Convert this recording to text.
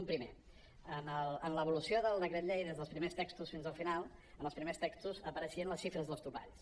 un primer en l’evolució del decret llei des dels primers textos fins al final en els primers textos apareixien les xifres dels topalls